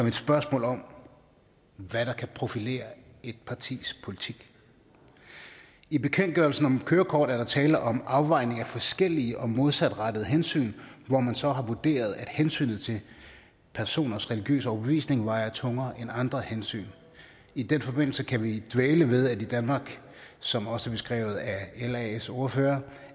et spørgsmål om hvad der kan profilere et partis politik i bekendtgørelsen om kørekort er der tale om afvejning af forskellige og modsatrettede hensyn hvor man så har vurderet at hensynet til personers religiøse overbevisning vejer tungere end andre hensyn i den forbindelse kan vi dvæle ved at i danmark som også beskrevet af las ordfører